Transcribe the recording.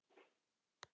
Nei, nei, síður en svo.